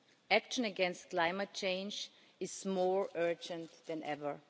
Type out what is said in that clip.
Action against climate change is more urgent than ever.